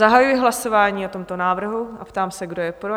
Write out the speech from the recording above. Zahajuji hlasování o tomto návrhu a ptám se, kdo je pro?